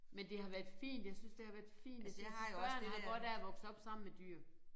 Men det har været fint jeg synes det har været fint at jeg synes børn har godt af at vokse op sammen med dyr